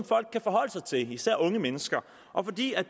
folk kan forholde sig til især unge mennesker og fordi